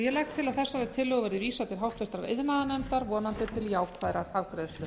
ég legg til að þessari tillögu verði vísað til háttvirtrar iðnaðarnefndar vonandi til jákvæðrar afgreiðslu